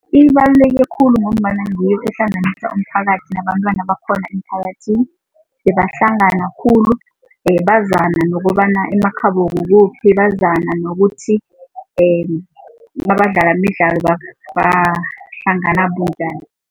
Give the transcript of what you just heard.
Nokuthi abadlala imidlalo bahlangana bunjani. Ibaluleke khulu ngombana ngiyo ehlanganisa umphakathi nabentwana bakhona emphakathini, bebahlanga khulu bazana nokobana emakhabo kukuphi, bazana nokuthi nabadlala imidlalo bahlangana bunjani.